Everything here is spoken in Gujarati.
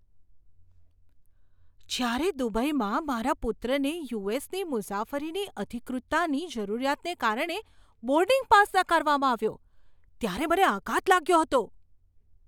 જ્યારે દુબઈમાં મારા પુત્રને યુ.એસ.ની મુસાફરીની અધિકૃતતાની જરૂરિયાતને કારણે બોર્ડિંગ પાસ નકારવામાં આવ્યો ત્યારે મને આઘાત લાગ્યો હતો.